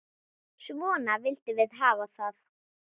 Svona vildum við hafa það.